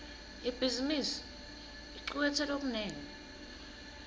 ibhizimisi icuketse lokunengi